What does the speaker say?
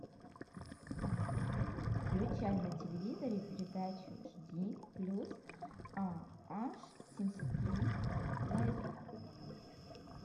включай на телевизоре передачу жди плюс а аш семьдесят три лайф